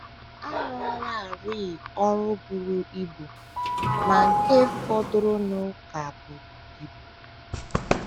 A rụọlarị ọrụ buru ibu, ma nke fọdụrụnụ ka buru ibu.